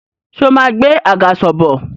Ṣé o máa gbé àgàsọ̀ bọ̀?